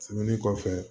Tɛmɛnen kɔfɛ